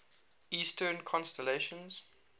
eastern constellations